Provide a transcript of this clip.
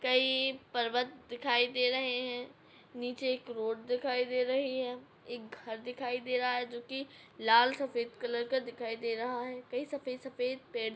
कई पर्वत दिखाई दे रहे हैं नीचे एक रोड दिखाई दे रही है एक घर दिखाई दे रहा है जोकि लाल सफ़ेद कलर का दिखाई दे रहा है कई सफ़ेद सफ़ेद पेड़ --